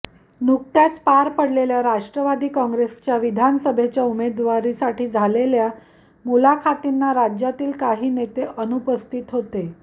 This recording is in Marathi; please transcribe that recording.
नुकत्याच पार पडलेल्या राष्ट्रवादी काँग्रेसच्या विधानसभेच्या उमेदवारीसाठी झालेल्या मुलाखतींना राज्यातील काही नेते अनुपस्थितीत होते